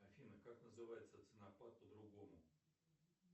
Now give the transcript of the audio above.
афина как называется ценопад по другому